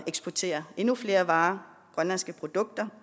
eksportere endnu flere varer grønlandske produkter